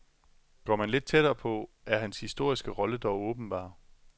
Går man lidt tættere på, er hans historiske rolle dog åbenbar.